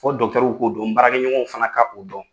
Fɔ w k'o dɔn, n baarakɛɲɔgɔnw fana ka o dɔn.